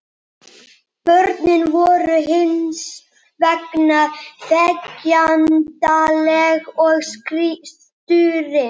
Börnin voru hins vegar þegjandaleg og stúrin.